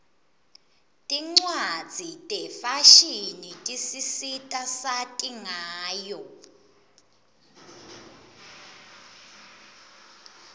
tincwadzi tefashini tisisita sati ngayo